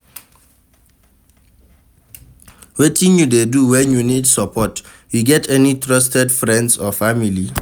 Wetin you dey do when you need support, you get any trusted friends or family?